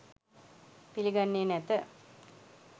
පිළිගන්නේ නැත